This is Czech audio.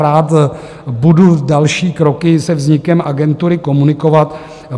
Rád budu další kroky se vznikem agentury komunikovat.